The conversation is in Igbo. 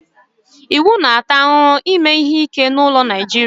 iwu na-ata ahụhụ ime ihe ike n'ụlọ na Naịjirịa